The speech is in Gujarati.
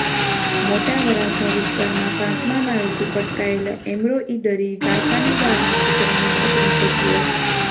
મોટાવરાછા વિસ્તારમાં પાંચમા માળેથી પટકાયેલા એમ્બ્રોઇડરી કારખાનેદારના પુત્રનું મોત નીપજ્યું હતું